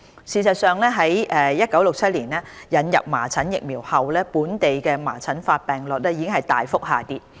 事實上，自1967年引入麻疹疫苗後，本地麻疹發病率已大幅下跌。